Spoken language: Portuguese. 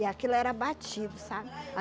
E aquilo era batido, sabe?